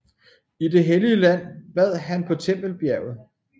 I Det Hellige Land bad han på Tempelbjerget